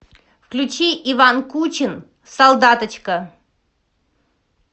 включи иван кучин солдаточка